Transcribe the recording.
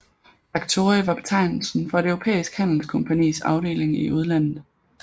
Faktori var betegnelsen for et europæisk handelskompagnis afdeling i udlandet